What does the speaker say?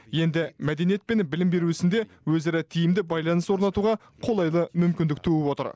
енді мәдениет пен білім беру ісінде өзара тиімді байланыс орнатуға қолайлы мүмкіндік туып отыр